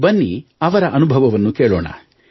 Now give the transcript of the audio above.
ಬನ್ನಿ ಅವರ ಅನುಭವವನ್ನು ಕೇಳೋಣ